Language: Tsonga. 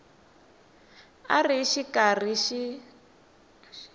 a xi ri karhi xi